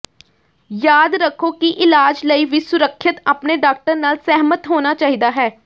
ਯਾਦ ਰੱਖੋ ਕਿ ਇਲਾਜ ਲਈ ਵੀ ਸੁਰੱਖਿਅਤ ਆਪਣੇ ਡਾਕਟਰ ਨਾਲ ਸਹਿਮਤ ਹੋਣਾ ਚਾਹੀਦਾ ਹੈ